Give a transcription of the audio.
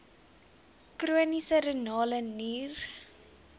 chroniese renale nier